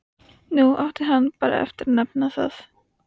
Nú átti hann bara eftir að nefna það.